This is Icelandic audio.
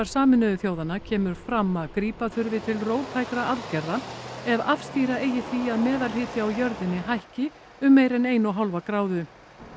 Sameinuðu þjóðanna kemur fram að grípa þurfi til róttækra aðgerða ef afstýra eigi því að meðalhiti á jörðinni hækki um meira en eina og hálfa gráðu